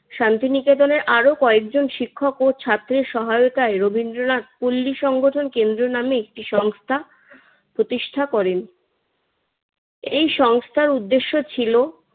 শান্তিনিকেতনের আরো কয়েকজন শিক্ষক ও ছাত্রের সহায়তায় রবীন্দ্রনাথ পল্লী সংগঠন কেন্দ্র নামে একটি সংস্থা প্রতিষ্ঠা করেন। এই সংস্থার উদ্দেশ্য ছিল